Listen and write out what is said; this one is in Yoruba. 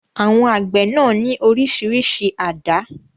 Àwọn àgbẹ̀ náà ní oríṣiríṣi àdá.